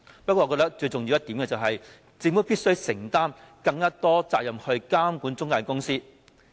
不過，我認為最重要的一點是，政府必須承擔更多監管中介公司的責任。